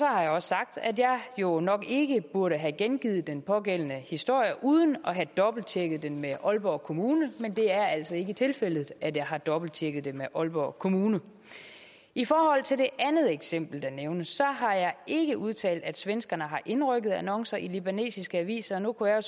har jeg også sagt at jeg jo nok ikke burde have gengivet den pågældende historie uden at have dobbelttjekket den med aalborg kommune men det er altså ikke tilfældet at jeg har dobbelttjekket det med aalborg kommune i forhold til det andet eksempel der nævnes har jeg ikke udtalt at svenskerne har indrykket annoncer i libanesiske aviser nu kunne jeg